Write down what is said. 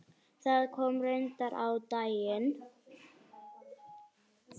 Það kom reyndar á daginn.